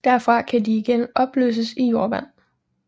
Derfra kan de igen opløses i jordvandet